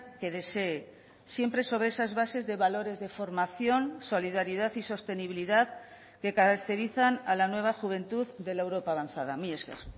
que desee siempre sobre esas bases de valores de formación solidaridad y sostenibilidad que caracterizan a la nueva juventud de la europa avanzada mila esker